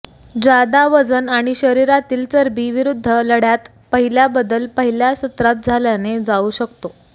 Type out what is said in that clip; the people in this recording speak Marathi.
जादा वजन आणि शरीरातील चरबी विरुद्ध लढ्यात पहिल्या बदल पहिल्या सत्रात झाल्याने जाऊ शकतो